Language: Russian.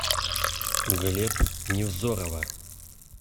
глеб невзорова